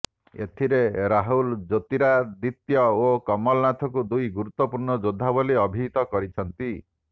ଏଥିରେ ରାହୁଲ ଜ୍ୟୋତିରାଦିତ୍ୟ ଓ କମଲନାଥଙ୍କୁ ଦୁଇ ଗୁରୁତ୍ୱପୂର୍ଣ୍ଣ ଯୋଦ୍ଧା ବୋଲି ଅଭିହିତ କରିଛନ୍ତି